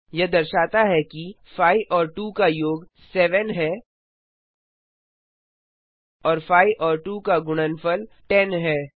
यह दर्शाता है कि 5 और 2 का योग 700 है और 5 और 2 का गुणनफल 1000 है